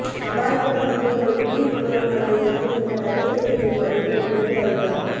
அபாயங்கள் மற்றும் ஒரு புள்ளிவிவரம் அடைவதற்கு நீங்கள் தவிர்க்க வேண்டிய படிகள் குறித்து அறிக